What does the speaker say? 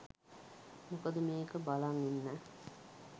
මොකද මේක බලන් ඉන්න